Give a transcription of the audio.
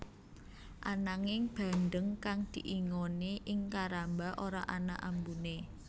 Ananging bandeng kang diingoni ing karamba ora ana ambuné